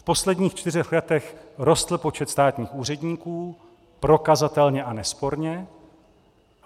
V posledních čtyřech letech rostl počet státních úředníků prokazatelně a nesporně.